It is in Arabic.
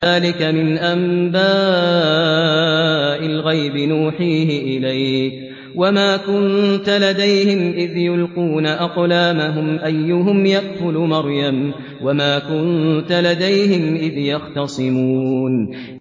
ذَٰلِكَ مِنْ أَنبَاءِ الْغَيْبِ نُوحِيهِ إِلَيْكَ ۚ وَمَا كُنتَ لَدَيْهِمْ إِذْ يُلْقُونَ أَقْلَامَهُمْ أَيُّهُمْ يَكْفُلُ مَرْيَمَ وَمَا كُنتَ لَدَيْهِمْ إِذْ يَخْتَصِمُونَ